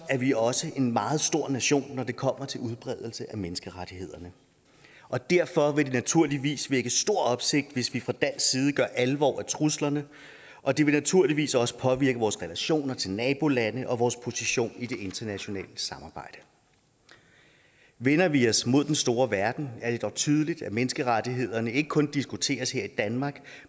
er vi også en meget stor nation når det kommer til udbredelse af menneskerettighederne og derfor vil det naturligvis vække stor opsigt hvis vi fra dansk side gør alvor af truslerne og det vil naturligvis også påvirke vores relationer til nabolande og vores position i det internationale samarbejde vender vi os mod den store verden er det dog tydeligt at menneskerettighederne ikke kun diskuteres her i danmark